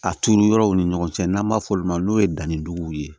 A turu yɔrɔw ni ɲɔgɔn cɛ n'an b'a f'olu ma n'o ye danni jugu ye